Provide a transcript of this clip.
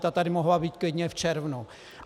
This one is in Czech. Ta tady mohla být klidně v červnu!